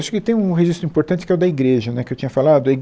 Acho que tem um registro importante que é o da igreja, né, que eu tinha falado. Aí